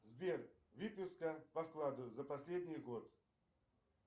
сбер выписка по вкладу за последний год